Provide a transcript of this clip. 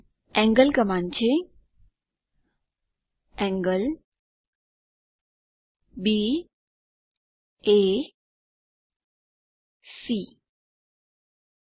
angle command છે angleB એ C